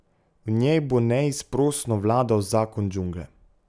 V njej bo neizprosno vladal zakon džungle.